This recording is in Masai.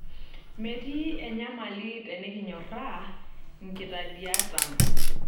Metii enyamali tekinyorraa nkitadiat ang'.